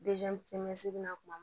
kuma